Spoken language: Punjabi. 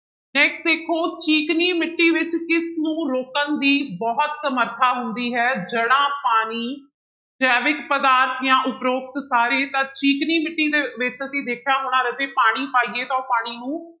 Next ਦੇਖੋ ਚੀਕਣੀ ਮਿੱਟੀ ਵਿੱਚ ਕਿਸ ਨੂੰ ਰੋਕਣ ਦੀ ਬਹੁਤ ਸਮਰਥਾ ਹੁੰਦੀ ਹੈ ਜੜਾਂ, ਪਾਣੀ, ਜੈਵਿਕ ਪਦਾਰਥ ਜਾਂ ਉਪਰੋਕਤ ਸਾਰੇ, ਤਾਂ ਚੀਕਣੀ ਮਿੱਟੀ ਦੇ ਵਿੱਚ ਅਸੀਂ ਦੇਖਿਆ ਹੋਣਾ ਰਾਜੇ ਪਾਣੀ ਪਾਈਏ ਤਾਂ ਉਹ ਪਾਣੀ ਨੂੰ